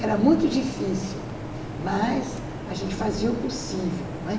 Era muito difícil, mas a gente fazia o possível, não é?